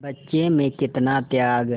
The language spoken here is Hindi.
बच्चे में कितना त्याग